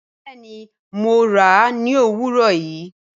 Bẹẹni Mo ra ni owurọ yii